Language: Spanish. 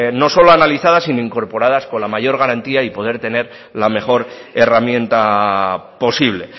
no solo sino incorporadas con la mayor garantía y poder tener la mejor herramienta posible